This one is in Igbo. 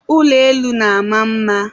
ụlọ elu na-ama mma.